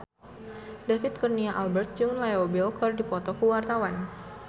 David Kurnia Albert jeung Leo Bill keur dipoto ku wartawan